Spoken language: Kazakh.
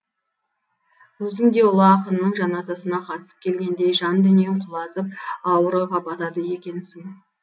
өзің де ұлы ақынның жаназасына қатысып келгендей жан дүниең құлазып ауыр ойға батады екенсің